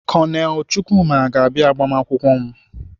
Kọnelụ Chukwuma ga-abịa agbamakwụkwọ m.